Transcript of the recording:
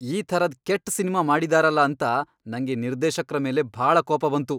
ಈ ಥರದ್ ಕೆಟ್ಟ್ ಸಿನ್ಮಾ ಮಾಡಿದಾರಲ ಅಂತ ನಂಗೆ ನಿರ್ದೇಶಕ್ರ ಮೇಲೆ ಭಾಳ ಕೋಪ ಬಂತು.